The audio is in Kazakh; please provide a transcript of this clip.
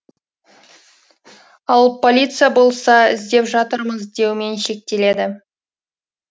ал полиция болса іздеп жатырмыз деумен шектеледі